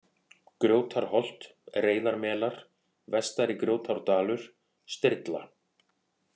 Gjótarholt, Reyðarmelar, Vestari-Grjótárdalur, Strilla